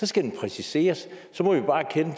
skal præciseres